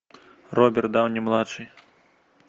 роберт дауни младший